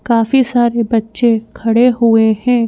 काफी सारे बच्चे खड़े हुए हैं।